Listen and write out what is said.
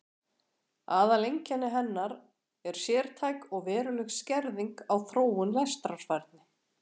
Aðaleinkenni hennar er sértæk og veruleg skerðing á þróun lestrarfærni.